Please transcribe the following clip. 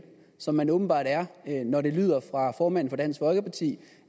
som man åbenbart er når det lyder fra formanden for dansk folkeparti